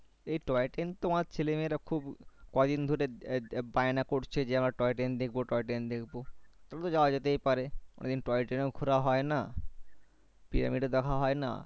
এই toy train তো আমার ছেলে-মেয়ে রা খুব ক দিন ধরে বায়না করছে যে toy train দেখবো toy train দেখবো তাহলে তো যাওয়া যেতেই পারে অনেকদিন toy train এও ঘোরা হয়না Pyramid ও দেখা হয়না